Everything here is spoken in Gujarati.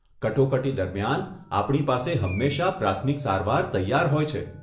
કટોકટી દરમિયાન, આપણી પાસે હંમેશા પ્રાથમિક સારવાર તૈયાર હોય છે.